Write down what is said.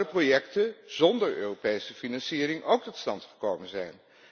Zouden projecten zonder Europese financiering ook tot stand gekomen zijn?